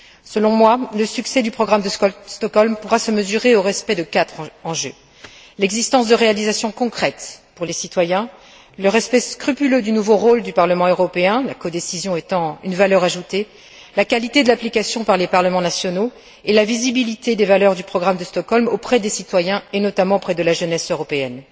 Selon moi, le succès du programme de Stockholm pourra se mesurer au respect de quatre enjeux l'existence de réalisations concrètes pour les citoyens, le respect scrupuleux du nouveau rôle du Parlement européen la codécision étant une valeur ajoutée la qualité de l'application par les parlements nationaux et la visibilité des valeurs du programme de Stockholm auprès des citoyens, et notamment auprès de la jeunesse européenne.